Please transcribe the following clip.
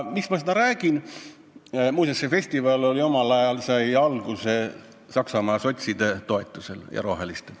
Muuseas, see festival sai omal ajal alguse Saksamaa sotside ja roheliste toetusel.